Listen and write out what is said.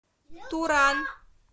туран